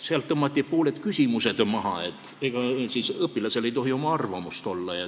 Sealt tõmmati pooled küsimused maha, sest ega õpilasel ei tohi oma arvamust olla.